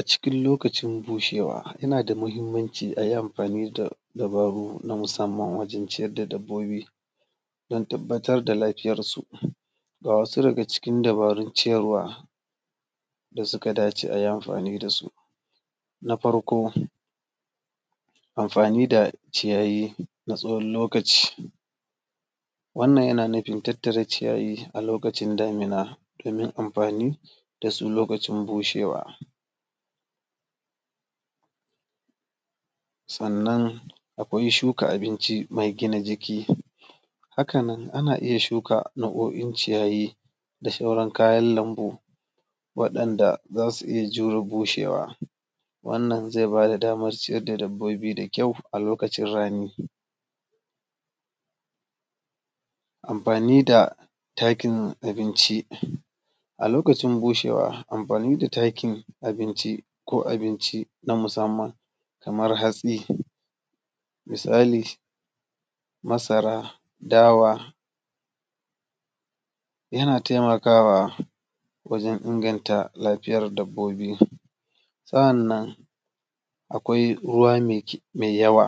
Acikin lokacin bushewa, yana da mahimmanci a yi amfani da dabaru na musamman wajen ciyad da dabbobi, don tabbatar da lafiyarsu. Ga wasu daga cikin dabarun ciyarwa da suka dace a yi amfani da su: Na farko, amfani da ciyayi na tsawon lokaci; wannan yana nufin tattara ciyayi a lokacin damina domin amfani da su lokacin bushewa. Sannan akwai shuka abinci mai gina jiki; haka nan ana iya shuka nau’o’in ciyayi da sauran kayan lambu, waɗanda za su iya jure bushewa, wannan zai ba da damar ciyar da dabbobi da kyau a lokacin rani. Amfani da takin abinci; a lokacin bushewa, amfani da takin abinci ko abinci na musamman, kamar hatsi, misali: masara, dawa, yana taimakawa wajen inganta lafiyar dabbobi. Sa’annan akwai ruwa yawa;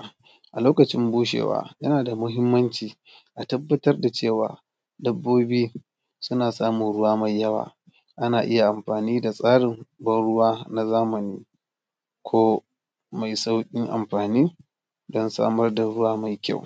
a lokacin bushewa, yana da mahimmanci a tabbatar da cewa dabbobi suna samun ruwa mai yawa, ana iya amfani da tsarin ban ruwa na zamani ko mai sauƙin amfani don samar da ruwa mai kyau.